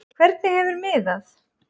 Hvernig hefur miðað?